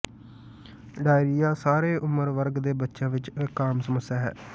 diarrhoea ਸਾਰੇ ਉਮਰ ਵਰਗ ਦੇ ਬੱਚਿਆਂ ਵਿੱਚ ਇੱਕ ਆਮ ਸਮੱਸਿਆ ਹੈ